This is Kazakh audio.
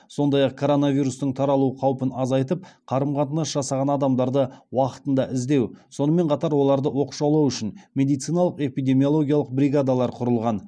сондай ақ коронавирустың таралу қаупін азайтып қарым қатынас жасаған адамдарды уақытында іздеу сонымен қатар оларды оқшаулау үшін медициналық эпидемиологиялық бригадалар құрылған